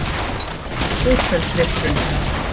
Búrfellsvirkjun